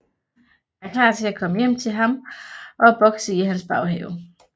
Jeg er klar til at komme hjem til ham og bokse i hans baghave